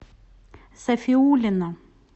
сафиуллина